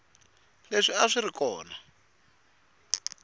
leswi a swi ri kona